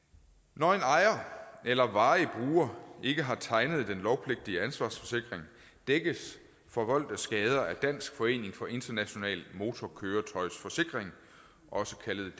når en ejer eller varig bruger ikke har tegnet den lovpligtige ansvarsforsikring dækkes forvoldte skader af dansk forening for international motorkøretøjsforsikring også kaldet